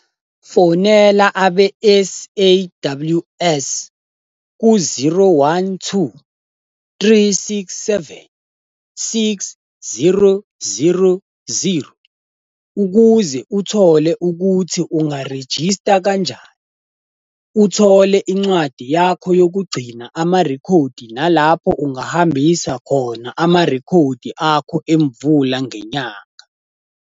Fonela abe-SAWS ku-012 367 6000 ukuze uthole ukuthi ungarejista kanjani, uthole incwadi yakho yokugcina amarekhodi nalapho ungahambisa khona amarekhodi akho emvula ngenyanga.